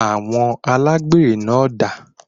Awọn Alágbèré náà dà?